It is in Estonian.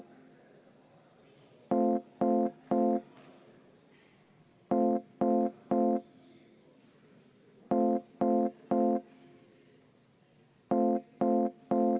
V a h e a e g